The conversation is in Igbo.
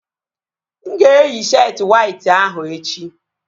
Mụ ga-eyi sheetị wayt ahụ echi